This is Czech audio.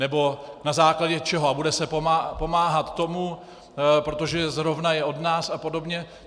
Nebo na základě čeho a bude se pomáhat tomu - protože zrovna je od nás a podobně?